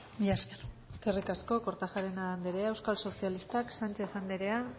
mila esker eskerrik asko kortajarena andrea euskal sozialistak sanchez andrea